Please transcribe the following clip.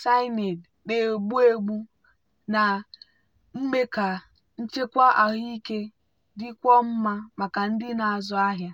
cyanide na-egbu egbu na-eme ka nchekwa ahụike dịkwuo mma maka ndị na-azụ ahịa.